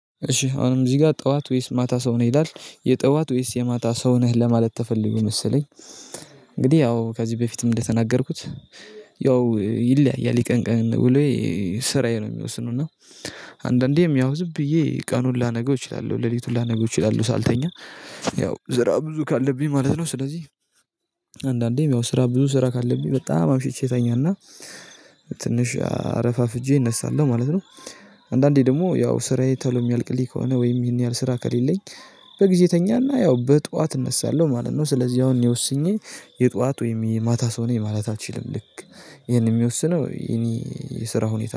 እሺ አሁን እዚህ ጋር ጠዋት ወይስ ማታ ሰው ነው ይላል የጠዋት ወይስ የማታ ሰው ነህ ለማለት ተፈልጎ መሰለኝ እንግዲህ ያው ከዚህ በፊትም እንደተናገርኩት ያው ይለያያል የቀን ቀን ውሎዬ ስራዬ ነው የሚወስነው እና አንዳንዴ ያው ዝምብዬ ቀኑን ላነገው እችላለሁ ሌሊቱን ላነገው እችላለሁ ሳልተኛ ያው ስራ ብዙ ካለብኝ ማለት ነው ስለዚህ አንዳንዴም ያው ስራ ብዙ ስራ ካለብኝ በጣም አምሽቼ እተኛና ትንሽ አረፋፍጄ እነሳለሁ ማለት ነው። አንዳንዴ ደግሞ ያው ስራዬ ተሎ ሚያልቅልኝ ከሆነ ወይም ይሄን ያህል ስራ ከሌለኝ በጊዜ እተኛና ያው በጧት እነሳለሁ ማለት ነው ስለዚህ አሁን ወስኜ የጧት ወይም የማታ ሰው ነኝ ማለት አልችልም ልክ ይሄንን የሚወስነው የኔ የስራ ሁኔታ።